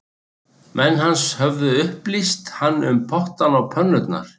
Menn hans höfðu upplýst hann um pottana og pönnurnar